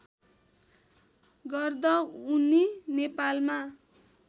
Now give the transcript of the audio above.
गर्दा उनी नेपालमा